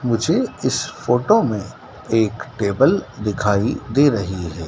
मुझे इस फोटो में एक टेबल दिखाई दे रही है।